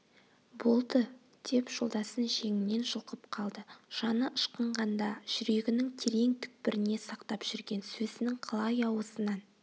болды деп жолдасын жеңінен жұлқып қалды жаны ышқынғанда жүрегінің терең түкпіріне сақтап жүрген сөзінің қалай аузынан